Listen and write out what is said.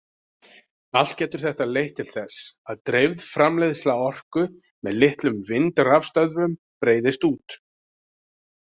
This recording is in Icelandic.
Allt getur þetta leitt til þess að dreifð framleiðsla orku með litlum vindrafstöðvum breiðist út.